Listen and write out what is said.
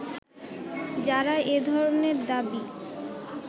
যারা এ ধরনের দাবী